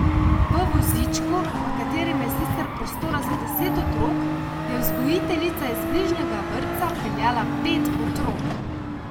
V vozičku, v katerem je sicer prostora za deset otrok, je vzgojiteljica iz bližnjega vrtca peljala pet otrok.